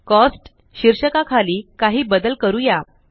cost शीर्षका खाली काही बदल करूया